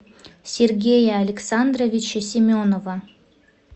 сергея александровича семенова